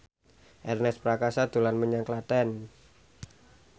Ernest Prakasa dolan menyang Klaten